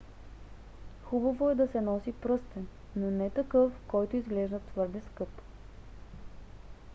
хубаво е да се носи пръстен но не такъв който изглежда твърде скъп